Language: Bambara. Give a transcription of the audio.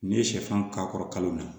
N'i ye sɛfan k'a kɔrɔ kalo la